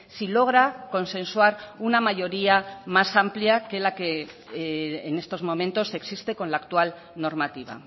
si logra consensuar una mayoría más amplia que la que en estos momentos existe con la actual normativa